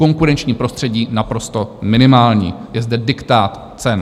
Konkurenční prostředí naprosto minimální, je zde diktát cen.